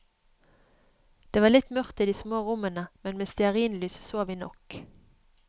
Det var litt mørkt i de små rommene, men med stearinlys så vi nok.